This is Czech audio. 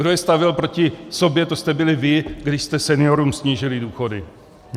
Kdo je stavěl proti sobě, to jste byli vy, když jste seniorům snížili důchody.